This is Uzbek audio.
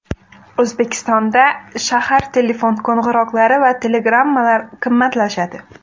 O‘zbekistonda shahar telefon qo‘ng‘iroqlari va telegrammalar qimmatlashadi.